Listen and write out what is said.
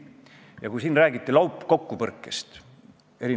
Hästi vahva ja mugav on asi ära tappa, nüüd oleme justkui probleemist lahti.